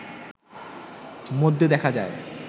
মধ্যে দেখা যায়